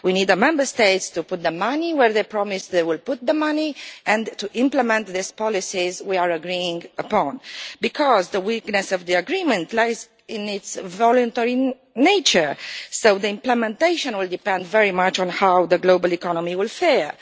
We need the Member States to put the money where they promised they would put the money and to implement these policies we are agreeing upon. The weakness of the agreement lies in its voluntary nature, so the implementation will depend very much on how the global economy will fare.